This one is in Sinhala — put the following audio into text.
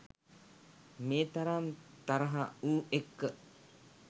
මේ තරම් තරහ ඌ එක්ක?